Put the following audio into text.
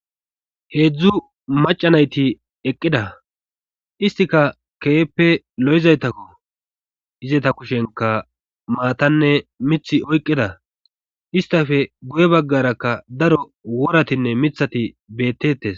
heedzdzu maca nayti eqqida istika keeppe lo7izaytakko izeta kushenka maatanne mith oyqqida istafe guye baggarakka daro woratinne mithati beettetes